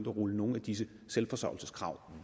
at rulle nogle af disse selvforsørgelseskrav